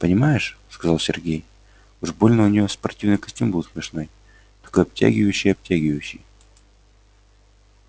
понимаешь сказал сергей уж больно у неё спортивный костюм был смешной такой обтягивающий-обтягивающий